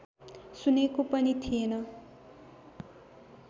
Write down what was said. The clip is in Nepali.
सुनेको पनि थिएन